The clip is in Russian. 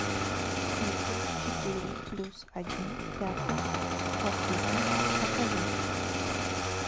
битлз четыре плюс один пятый в квартете покажи